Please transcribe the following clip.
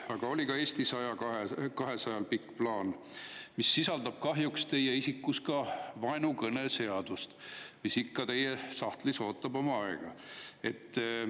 Aga ka Eesti 200-l oli pikk plaan, mis sisaldab kahjuks ka vaenukõneseadust, mis ikka teie sahtlis ootab oma aega.